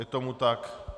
Je tomu tak.